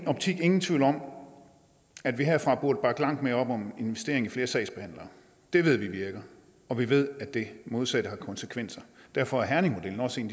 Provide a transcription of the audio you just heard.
optik ingen tvivl om at vi herfra burde bakke langt mere op om investering i flere sagsbehandlere det ved vi virker og vi ved at det modsatte har konsekvenser derfor er herningmodellen også en